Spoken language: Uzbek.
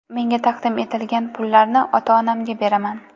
Menga taqdim etilgan pullarni ota-onamga beraman.